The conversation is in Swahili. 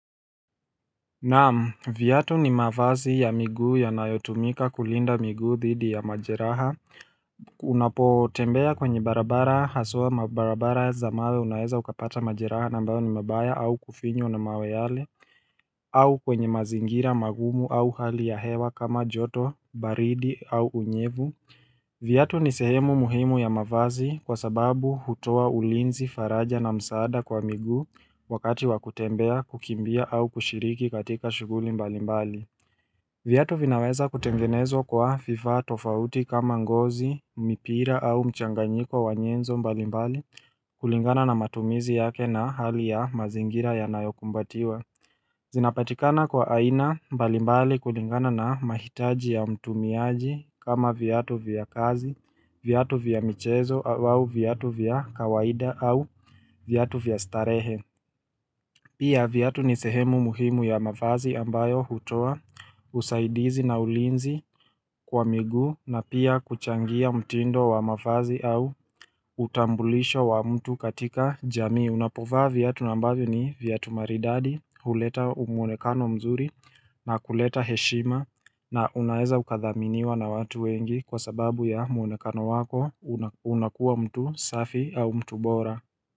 Naam, vyatu ni mavazi ya miguu yanayotumika kulinda miguu thidi ya majeraha, unapotembea kwenye barabara haswa mabarabara za mawe unaeza ukapata majeraha na ambayo ni mabaya au kufinywa na mawe yale, au kwenye mazingira magumu au hali ya hewa kama joto, baridi au unyevu. Vyatu ni sehemu muhimu ya mavazi kwa sababu hutoa ulinzi faraja na msaada kwa miguu wakati wa kutembea kukimbia au kushiriki katika shuguli mbalimbali. Vyatu vinaweza kutengenezo kwa vifaa tofauti kama ngozi, mipira au mchanganyiko wa nyenzo mbalimbali kulingana na matumizi yake na hali ya mazingira ya nayokumbatiwa. Zinapatikana kwa aina mbalimbali kulingana na mahitaji ya mtumiaji kama vyatu vya kazi, vyatu vya michezo au vyatu vya kawaida au vyatu vya starehe Pia vyatu ni sehemu muhimu ya mavazi ambayo hutoa usaidizi na ulinzi kwa miguu na pia kuchangia mtindo wa mafazi au utambulisho wa mtu katika jamii Unapovaa vyatu na ambavyo ni vyatu maridadi, huleta umwonekano mzuri na kuleta heshima na unaeza ukathaminiwa na watu wengi kwa sababu ya mwonekano wako unakuwa mtu safi au mtu bora.